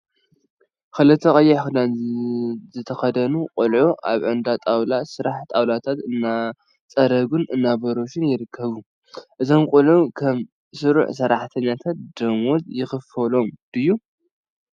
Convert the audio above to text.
ክልተ ቀይሕ ክዳን ዝተከደኑ ቆልዑት አብ እንዳ ጣውላ ስራሕ ጣውላታት እናፀረጉን እናቦረሹን ይርከቡ፡፡ እዞም ቆልዑ ከም ስሩዕ ሰራሕተኛታት ዶሞዝ ይክፈሎም ድዮ?